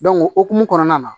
o hokumu kɔnɔna na